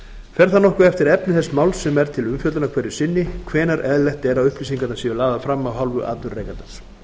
fer það nokkuð eftir efni þess máls sem er til umfjöllunar hverju sinni hvenær eðlilegt er að upplýsingarnar séu lagðar fram af hálfu atvinnurekandans